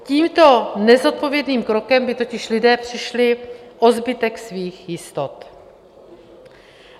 Tímto nezodpovědným krokem by totiž lidé přišli o zbytek svých jistot.